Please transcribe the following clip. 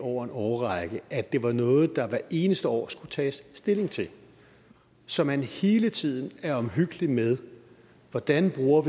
over en årrække at det var noget der hvert eneste år skulle tages stilling til så man hele tiden er omhyggelig med hvordan vi bruger